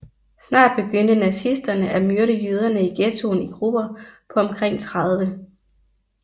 Snart begyndte nazisterne at myrde jøderne i ghettoen i grupper på omkring 30